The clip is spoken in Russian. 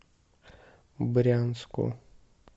брянску